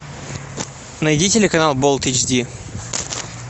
найди телеканал болт эйч ди